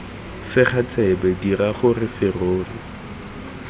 sega tsebe dira gore serori